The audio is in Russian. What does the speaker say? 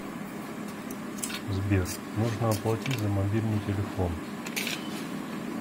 сбер нужно оплатить за мобильный телефон